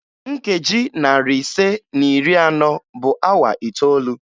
Nkeji narị ise na iri anọ bụ awa itoolu